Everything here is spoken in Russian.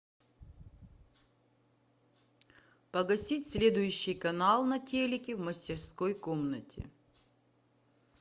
погасить следующий канал на телике в мастерской комнате